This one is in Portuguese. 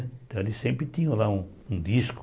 Então eles sempre tinham lá um um disco.